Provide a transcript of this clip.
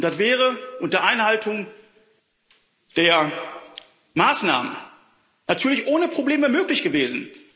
Das wäre unter Einhaltung der Maßnahmen natürlich ohne Probleme möglich gewesen.